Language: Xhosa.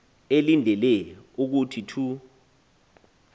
elindele ukuthi thu